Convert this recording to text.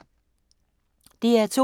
DR2